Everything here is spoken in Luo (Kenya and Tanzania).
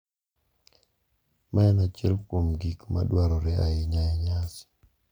Mae en achiel kuom gik ma dwarore ahinya e nyasi.